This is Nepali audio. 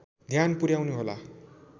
ध्यान पुर्‍याउनु होला